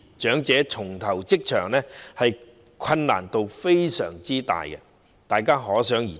長者重投職場，難度非常大，大家可想而知。